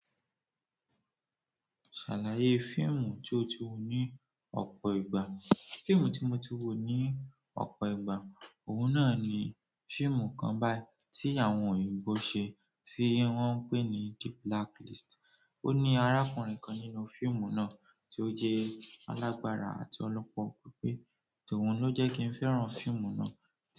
Ṣàlàyé fíìmù tí o ti wò ní ọ̀pọ̀ ìgbà. Fíìmù tí mo ti wò ní ọ̀pọ̀ ìgbà, òhun náà ni fíìmù kan báyìí tí àwọn òyìnbó ṣe tí wọ́n ń pè ní The Blacklist. O ni arákùnrin kan nínú fíìmù náà ti o jẹ alagbara àti ọlọpọlọ pípé so òun ló jẹ kii fẹ́ràn fíìmù náà.